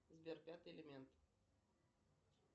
сбер пятый элемент